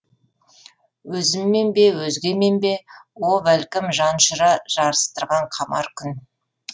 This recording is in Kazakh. өзіммен бе өзгемен бе о бәлкім жанұшыра жарыстырған қамар түн